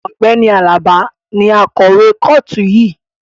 Ọ̀gbẹ́ni Alaba ni akọ̀wé kọ́ọ̀tù yìí